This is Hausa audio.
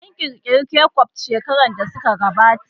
An ƙirƙiri kecup shekaru da suka gabata